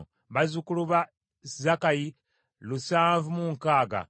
bazzukulu ba Zakkayi lusanvu mu nkaaga (760),